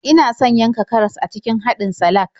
Ina son yanka karas a cikin haɗin salak.